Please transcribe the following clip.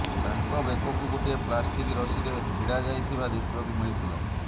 ତାଙ୍କ ବେକକୁ ଗୋଟିଏ ପ୍ଲାଷ୍ଟିକ ରଶିରେ ଭିଡ଼ା ଯାଇଥିବା ଦେଖିବାକୁ ମିଳିଥିଲା